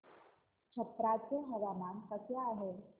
छप्रा चे हवामान कसे आहे